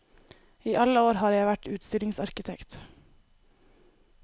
I alle år har jeg vært utstillingsarkitekt.